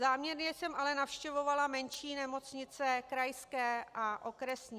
Záměrně jsem ale navštěvovala menší nemocnice, krajské a okresní.